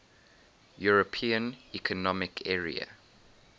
european economic area